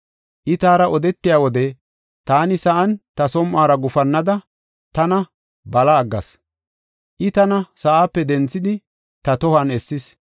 I taara odetiya wode, taani sa7an ta som7uwara gufannada, tana bala aggas. I tana sa7aape denthidi, ta tohuwan essis.